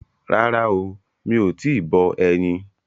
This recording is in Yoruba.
Rárá o, mi ò tíì bọ ẹyin.